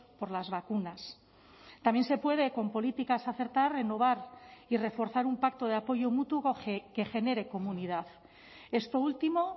por las vacunas también se puede con políticas acertar renovar y reforzar un pacto de apoyo mutuo que genere comunidad esto último